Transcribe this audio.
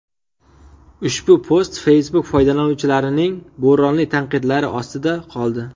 Ushbu post Facebook foydalanuvchilarining bo‘ronli tanqidlari ostida qoldi.